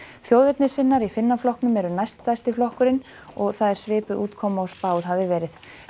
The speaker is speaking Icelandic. þjóðernissinnar í Finnaflokknum eru næststærsti flokkurinn og það er svipað útkoma og spáð hafði verið